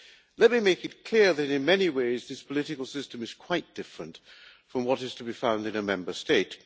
Let me make it clear that, in many ways, this political system is quite different from what is to be found in a Member State.